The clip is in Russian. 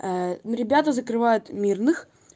ну ребята закрывают мирных